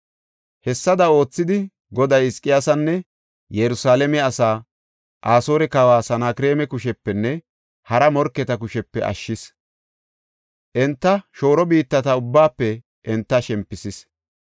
Hessada oothidi, Goday Hizqiyaasanne Yerusalaame asaa Asoore kawa Sanakreema kushepenne hara morketa kushepe ashshis; enta shooro biittata ubbaafe enta shempisis.